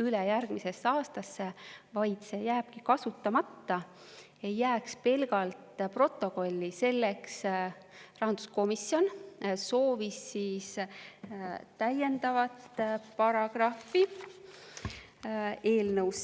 üle järgmisesse aastasse, vaid see jääbki kasutamata, ei jääks pelgalt protokolli, soovis rahanduskomisjon täiendavat paragrahvi eelnõusse.